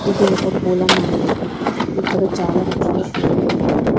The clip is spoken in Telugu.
ఇది ఒక పూల మార్కెట్ ఇక్కడ చాలా రకాల పూలు ఉన్నాయి.